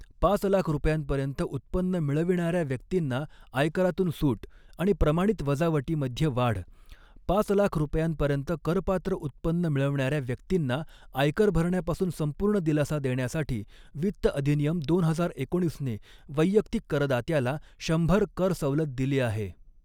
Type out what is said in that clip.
पाच लाख रुपयांपर्यंत उत्पन्न मिळविणाऱ्या व्यक्तींना आयकरातून सूट आणि प्रमाणित वजावटीमध्ये वाढ, पाच लाख रुपयांपर्यंत करपात्र उत्पन्न मिळविणाऱ्या व्यक्तींना आयकर भरण्यापासून संपूर्ण दिलासा देण्यासाठी वित्त अधिनियम, दोन हजार एकोणीसने वैयक्तिक करदात्याला शंभर कर सवलत दिली आहे.